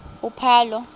uphalo